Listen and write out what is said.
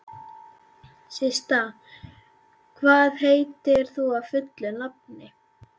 Systa, hvað heitir þú fullu nafni?